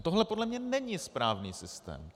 A tohle podle mě není správný systém.